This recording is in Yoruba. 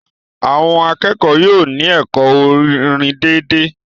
Àwọn akẹ́kọ̀ọ́ yóò ní ẹ̀kọ́ orin dédé